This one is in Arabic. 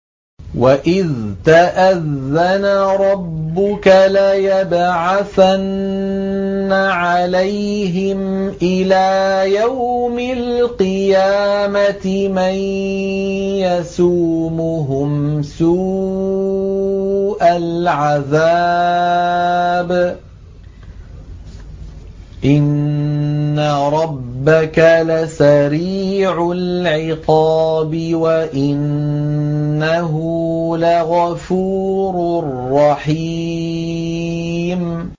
وَإِذْ تَأَذَّنَ رَبُّكَ لَيَبْعَثَنَّ عَلَيْهِمْ إِلَىٰ يَوْمِ الْقِيَامَةِ مَن يَسُومُهُمْ سُوءَ الْعَذَابِ ۗ إِنَّ رَبَّكَ لَسَرِيعُ الْعِقَابِ ۖ وَإِنَّهُ لَغَفُورٌ رَّحِيمٌ